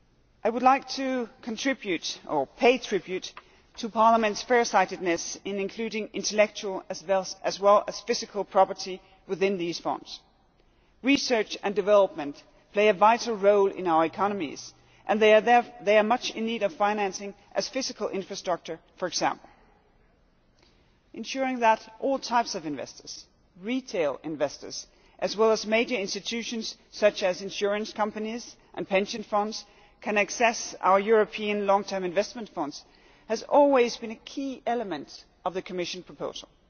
I would like to pay tribute to Parliament's farsightedness in including intellectual, as well as physical, property within these Funds. Research and development play a vital role in our economies and they are as much in need of financing as physical infrastructures for example. Ensuring that all types of investors retail investors as well as major institutions such as insurance companies and pension funds can access our European Long term Investment Funds has always been a key element of the Commission proposal.